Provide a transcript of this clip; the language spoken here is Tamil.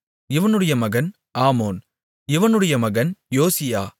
இவனுடைய மகன் ஆமோன் இவனுடைய மகன் யோசியா